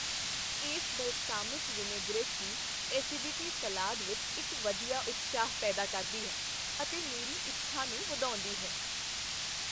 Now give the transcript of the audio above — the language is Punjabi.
ਇਸ ਬਲਸਾਮਿਕ ਵਿਨੈਗਰੇਟ ਦੀ ਐੱਸੀਡਿਟੀ ਸਲਾਦ ਵਿੱਚ ਇੱਕ ਵਧੀਆ ਉਤਸ਼ਾਹ ਪੈਦਾ ਕਰਦੀ ਹੈ ਅਤੇ ਮੇਰੀ ਇੱਛਾ ਨੂੰ ਵਧਾਉਂਦੀ ਹੈ।